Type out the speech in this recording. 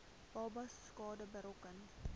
babas skade berokken